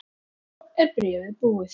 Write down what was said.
Svo er bréfið búið